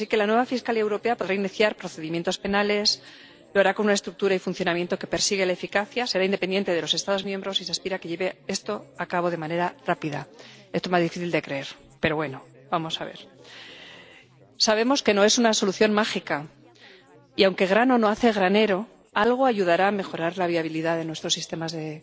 Así, la nueva Fiscalía Europea podrá iniciar procedimientos penales y lo hará con una estructura y un funcionamiento que persiguen la eficacia será independiente de los Estados miembros, y se aspira a que lleve esto a cabo de manera rápida —esto más difícil de creer, pero vamos a ver—. Sabemos que no es una solución mágica y, aunque un grano no hace granero, algo ayudará a mejorar la viabilidad de nuestros sistemas de